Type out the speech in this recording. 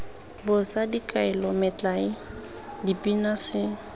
bosa dikaelo metlae dipina se